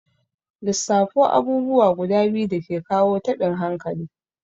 Lissafo abubuwa guda biyu dake kawo taɓin hankali?